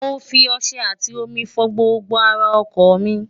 mo fi ọṣẹ àtì omi fọ gbogbo ara ọkọ̀ mi